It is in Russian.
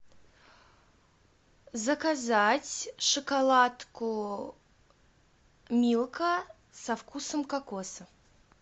заказать шоколадку милка со вкусом кокоса